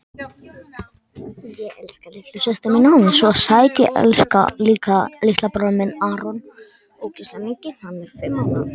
Sjá nánar á vefsetri Almanaks Háskóla Íslands.